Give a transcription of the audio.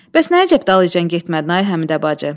Bəs nə əcəb dalıyca getmədin, ay Həmidə bacı?